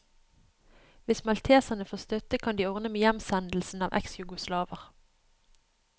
Hvis malteserne får støtte, kan de ordne med hjemsendelsen av eksjugoslaver.